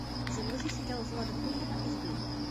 загрузи сериал влада фурмана изгой